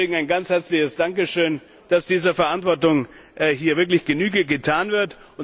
Deswegen ein ganz herzliches Dankeschön, dass dieser Verantwortung hier wirklich Genüge getan wird.